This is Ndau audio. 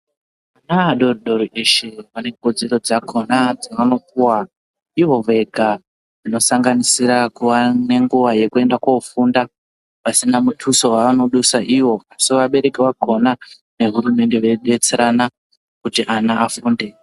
Vana vadodori veshe vanekodzero dzakona dzavanopuva ivo vega. Kusanganisira kuva nenguva yekuenda kofunda pasina mutuso vavanodusa ivo. Asi vabereki vakona nehurumende veidetserana kuti ana afunde.